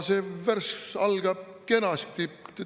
See värss algab kenasti.